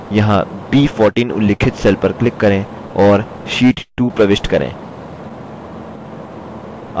यहाँ b14 उल्लिखित cell पर click करें और sheet 2 प्रविष्ट करें